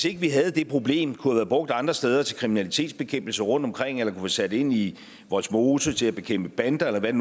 ikke havde det problem kunne have været brugt andre steder til kriminalitetsbekæmpelse rundtomkring eller kunne sat ind i vollsmose til at bekæmpe bander eller hvad